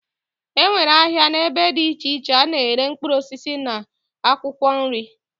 Enwere ahia na ebe di iche iche ana ere mkpuruosisi na akwokwo nri.